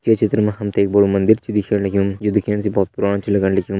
ये चित्र मा हम ते बड़ु मंदिर छ दिखेण लग्युं जु दिखेण से बहोत पुराणु छ लगण लग्युं।